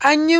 An yi